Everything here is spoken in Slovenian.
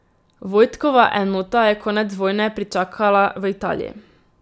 Vojtkova enota je konec vojne pričakala v Italiji.